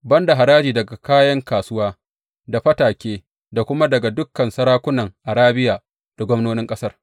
Ban da haraji daga ’yan kasuwa, da fatake, da kuma daga dukan sarakunan Arabiya, da gwamnonin ƙasar.